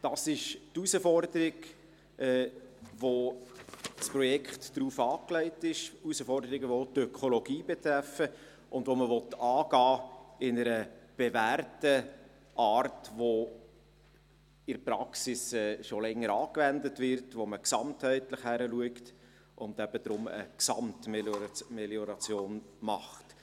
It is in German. Dies ist die Herausforderung, auf die das Projekt ausgelegt ist: Herausforderungen, die auch die Ökologie betreffen und die man in einer bewährten Art angehen will, welche in der Praxis schon länger angewendet wird, wo man gesamtheitlich hinschaut und eben deswegen eine Gesamtmelioration macht.